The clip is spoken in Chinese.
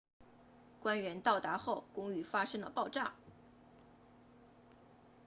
官员到达后公寓发生了爆炸